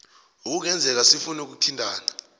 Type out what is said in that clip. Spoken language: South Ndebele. ekungenzeka sifune ukuthintana